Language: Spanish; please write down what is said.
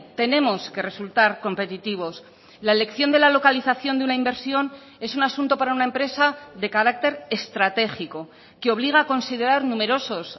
tenemos que resultar competitivos la elección de la localización de una inversión es un asunto para una empresa de carácter estratégico que obliga a considerar numerosos